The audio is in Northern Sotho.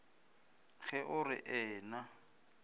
ge o re ee na